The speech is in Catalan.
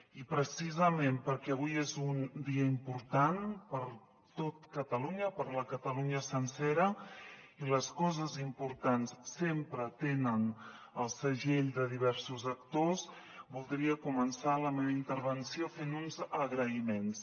i precisament perquè avui és un dia important per tot catalunya per la catalunya sencera i les coses importants sempre tenen el segell de diversos actors voldria començar la meva intervenció fent uns agraïments